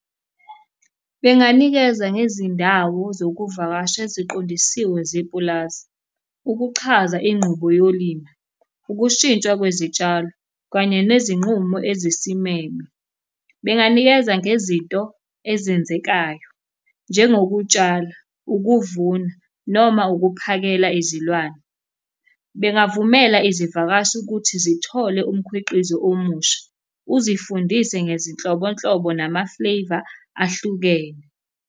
Benganikeza ngezindawo zokuvakasha eziqondisiwe zepulazi. Ukuchaza ingqubo yolimi, ukushintshwa kwezitshalo, kanye nezinqumo ezisimeme. Benganikeza ngezinto ezenzekayo, njengokutshala, ukuvuna noma ukuphakela izilwane. Bengavume izivakashi ukuthi zithole umkhwiqizo omusha, uzifundise ngezinhlobonhlobo nama-flavour ahlukene.